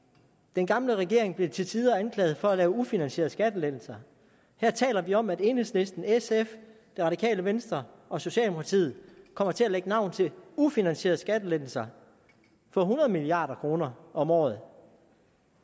den gamle regering blev til tider anklaget for at lave ufinansierede skattelettelser her taler vi om at enhedslisten sf det radikale venstre og socialdemokratiet kommer til at lægge navn til ufinansierede skattelettelser for hundrede milliard kroner om året